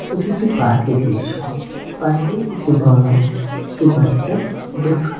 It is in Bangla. এটি একটি পার্ক -এর দৃশ্য পার্ক -এ একটি ডোলনায় একটি বাচ্চা ডোল খা --